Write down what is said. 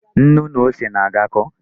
Nnu na ose na-agakọ.